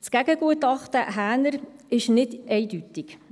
Das Gegengutachten Häner ist nicht eindeutig.